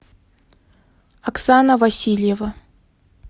оксана васильева